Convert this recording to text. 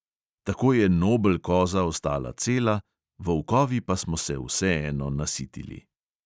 Tako je nobel koza ostala cela, volkovi pa smo se vseeno nasitili.